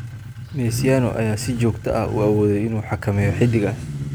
Mesiano ayaa si joogto ah u awooday inuu xakameeyo xidiggaas.